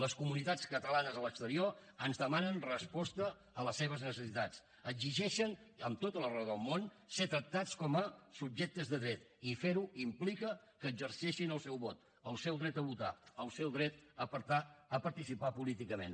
les comunitats catalanes a l’exterior ens demanen resposta a les seves necessitats exigeixen amb tota la raó del món ser tractats com a subjectes de dret i fer ho implica que exerceixin el seu vot el seu dret a votar el seu dret a participar políticament